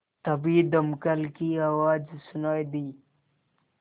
तभी दमकल की आवाज़ सुनाई दी